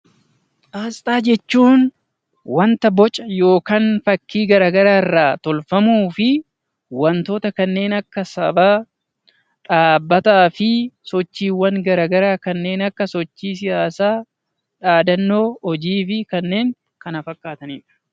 Asxaa jechuun wanta boca yookaan fakkii gara garaarraa tolfamuu fi wantoota kanneen akka sabaa, dhaabbataa fi sochiiwwan gara garaa kanneen akka sochii siyaasaa, aadannoo hojii fi kanneen kana fakkaatanidha.